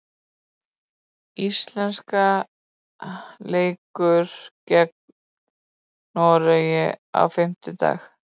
Íslenska leikur gegn Noregi á fimmtudag.